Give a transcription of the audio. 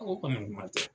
kɔni kuma tɛ